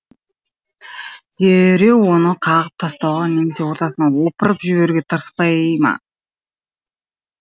дереу оны қағып тастауға немесе ортасынан опырып жіберуге тырыспай ма